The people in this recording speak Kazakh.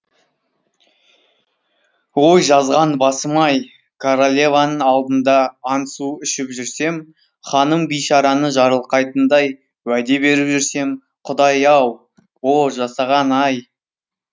ой жазған басым ай королеваның алдында ант су ішіп жүрсем ханым бейшараны жарылқайтындай уәде беріп жүрсем құдай ай о жасаған ай